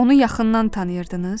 Onu yaxından tanıyırdınız?